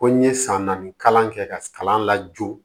Ko n ye san naani kalan kɛ ka kalan lajo